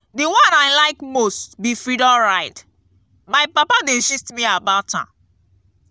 the one i like most be freedom ride. my papa dey gist me about am.